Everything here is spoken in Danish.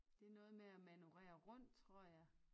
Det er noget med at manøvrere rundt tror jeg